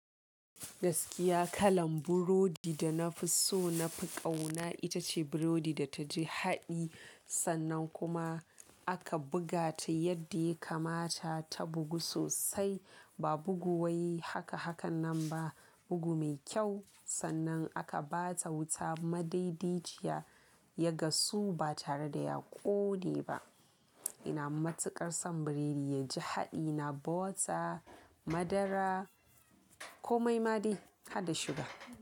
Gaskiya kalan burodi da na fi so na fi ƙauna ita ce burodi da ta ji haɗi sannan kuma aka buga ta yadda yake mata ta bugu sosai. Ba bugu wai haka hakan nan ba, bugu mai kyau sannan aka ba ta wuta madaidaiciya ya gasu ba tare da ya ƙone ba. Ina matuƙar son buredi ya ji haɗi, na bota, madara, komai ma dai har da suga.